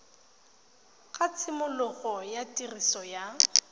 ga tshimologo ya tiriso ya